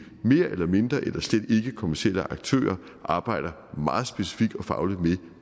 mere eller mindre eller slet ikke kommercielle aktører arbejder meget specifikt og fagligt med